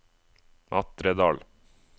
Matredal